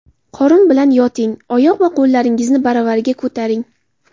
Qorin bilan yoting, oyoq va qo‘llaringizni baravariga ko‘taring.